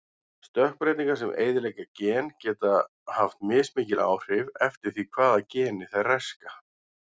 Stökkbreytingar sem eyðileggja gen geta haft mismikil áhrif eftir því hvaða geni þær raska.